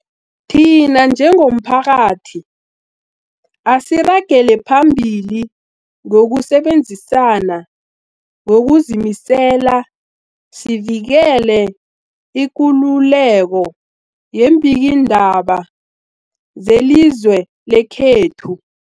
Thina njengomphakathi, asiragele phambili ngokusebenzisana ngokuzimisela sivikele ikululeko yeembikiindaba zelizwe lekhethu.